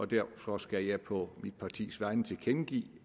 derfor skal jeg på mit partis vegne tilkendegive